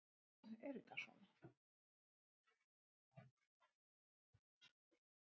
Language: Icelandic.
á nokkrum öðrum útgerðarstöðum bjuggu um eitt hundruð íbúar